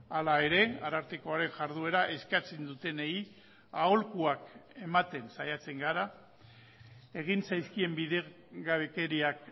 hala ere arartekoaren jarduera eskatzen dutenei aholkuak ematen saiatzen gara egin zaizkien bidegabekeriak